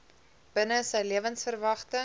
binne sy lewensverwagting